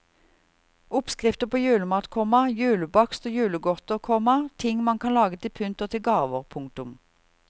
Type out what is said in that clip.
Oppskrifter på julemat, komma julebakst og julegodter, komma ting man kan lage til pynt og til gave. punktum